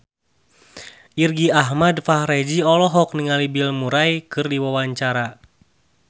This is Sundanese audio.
Irgi Ahmad Fahrezi olohok ningali Bill Murray keur diwawancara